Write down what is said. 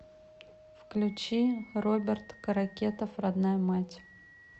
включи роберт каракетов родная мать